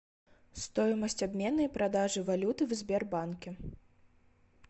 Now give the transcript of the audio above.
стоимость обмена и продажи валюты в сбербанке